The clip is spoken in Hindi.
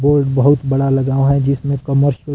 बोर्ड बहुत बड़ा लगा हुआ है जिसमें कमर से--